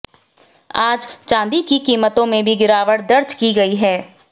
आज चांदी की कीमतों में भी गिरावट दर्ज की गई है